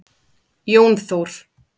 Jón Þór.